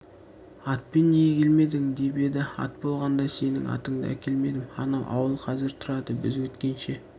атпен неге келмедің деп еді ат болғанда сенің атыңды әкелмедім анау ауыл қазір тұрады біз өткенше